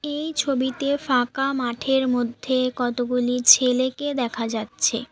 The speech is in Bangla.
এই ছবিতে ফাঁকা মাঠের মধ্যে কতগুলি ছেলেকে দেখা যাচ্ছে।